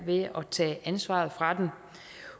ved at tage ansvaret fra dem